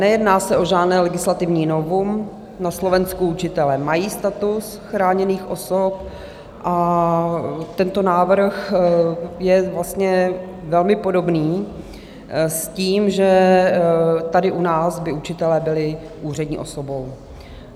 Nejedná se o žádné legislativní novum, na Slovensku učitelé mají status chráněných osob, a tento návrh je vlastně velmi podobný s tím, že tady u nás by učitelé byli úřední osobou.